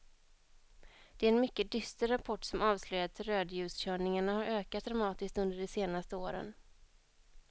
Det är en mycket dyster rapport som avslöjar att rödljuskörningarna har ökat dramatiskt under de senaste åren.